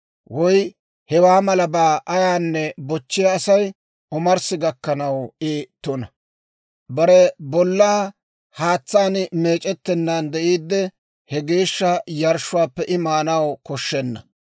woy hewaa malabaa ayaanne bochchiyaa asay, omarssi gakkanaw I tuna; bare bollaa haatsaan meec'ettennaan de'iidde, he geeshsha yarshshuwaappe I maanaw koshshenna.